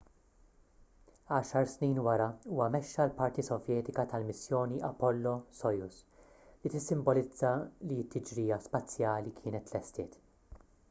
għaxar snin wara huwa mexxa l-parti sovjetika tal-missjoni apollo-soyuz li tissimbolizza li t-tiġrija spazjali kienet tlestiet